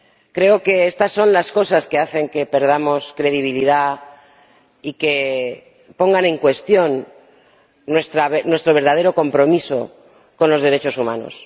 Creo que estas son las cosas que hacen que perdamos credibilidad y que pongan en cuestión nuestro verdadero compromiso con los derechos humanos.